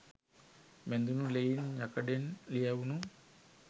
බැඳුනු ලෙයින් යකඩෙන් ලියැවුනු